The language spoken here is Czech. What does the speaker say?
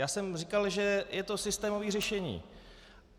Já jsem říkal, že je to systémové řešení.